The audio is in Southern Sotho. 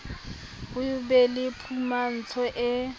ho be le phumantsho e